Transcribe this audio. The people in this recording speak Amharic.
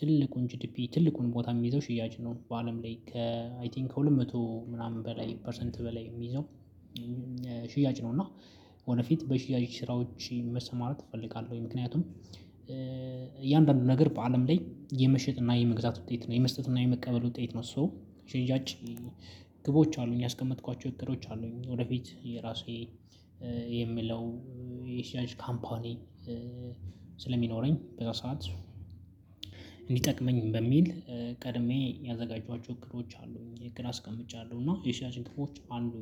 ትልቁን ጂድፒ ትልቁን ቦታ የሚይዘው ሽያጭ ነው በአለም ላይ ከ አይ ቲንክ ከሁለት መቶ ምናምን በላይ ፐርሰንት በላይ የሚይዘው። ሽያጭ ነው እና ወደፊት በሽያጭ ስራዎች መሰማራት እፈልጋለሁ። ምክንያቱም እያንዳንዱ ነገር በአለም ላይ የመሸጥ እና የመግዛት ውጤት ነው የመስጠት እና የመቀበል ውጤት ነው። ሶ ሽያጭ ግቦች አሉኝ ያስቀመጥኳቸው እቅዶች አሉኝ። ወደፊት የራሴ የምለው የሽያጭ ካምፓኒ ስለሚኖረኝ በዛ ሰዓት እንዲጠቅመኝ በሚል ቀድሜ ያዘጋጀኋቸው እቅዶች አሉኝ አስቀምጫለሁ እና የሽያጭ ግቦች አሉ።